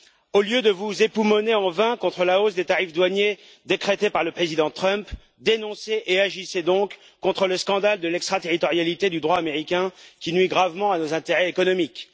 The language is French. Au lieu de vous époumoner en vain contre la hausse des tarifs douaniers décrétée par le président Trump, dénoncez et agissez donc contre le scandale de l'extra territorialité du droit américain, qui nuit gravement à nos intérêts économiques.